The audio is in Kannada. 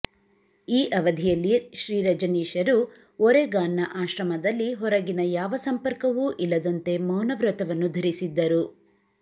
ಈ ಅವಧಿಯಲ್ಲಿ ಶ್ರೀರಜನೀಶರು ಓರೆಗಾನ್ನ ಆಶ್ರಮದಲ್ಲಿ ಹೊರಗಿನ ಯಾವ ಸಂಪರ್ಕವೂ ಇಲ್ಲದಂತೆ ಮೌನವ್ರತವನ್ನು ಧರಿಸಿದ್ದರು